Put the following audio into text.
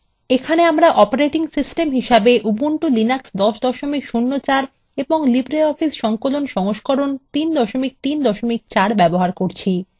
এখানে আমরা operating system হিসেবে উবুন্টু লিনাক্স 1004 এবং libreoffice সংকলন সংস্করণ 334 ব্যবহার করচ্ছি